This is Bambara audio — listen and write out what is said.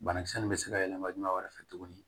Banakisɛ nin bɛ se ka yɛlɛma juma wɛrɛ fɛ tuguni